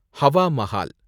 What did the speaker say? Hawa Mahal